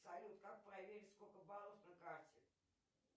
салют как проверить сколько баллов на карте